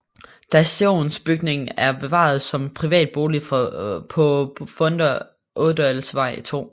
Stationsbygningen er bevaret som privat bolig på Funder Ådalsvej 2